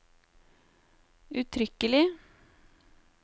uttrykkelig